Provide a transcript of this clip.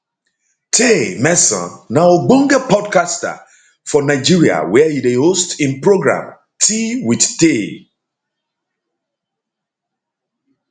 taymesan na ogbonge podcaster for nigeria wia e dey host im programtea with tay